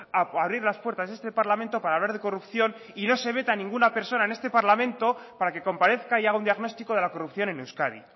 a abrir las puertas de este parlamento para hablar de corrupción y no se vete ninguna a ninguna persona en este parlamento para que comparezca y haga un diagnóstico de la corrupción en euskadi